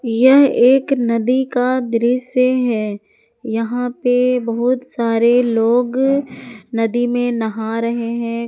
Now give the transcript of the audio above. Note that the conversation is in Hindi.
यह एक नदी का दृश्य है यहां पे बहुत सारे लोग नदी में नहा रहे हैं।